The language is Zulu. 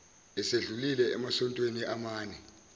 esedlulile emasontweni amane